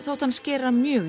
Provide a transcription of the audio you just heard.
þótti hann skera mjög